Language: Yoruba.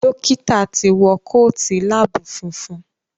Dókítà tí wọ Kóòtù lab funfun.